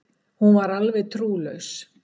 Hún var alveg trúlaus.